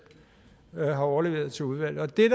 har overleveret til udvalget det